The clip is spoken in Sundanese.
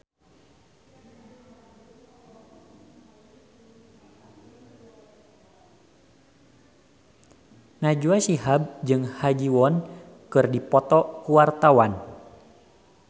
Najwa Shihab jeung Ha Ji Won keur dipoto ku wartawan